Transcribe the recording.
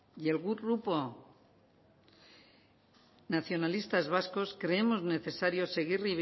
y el grupo nacionalistas vascos creemos necesario seguir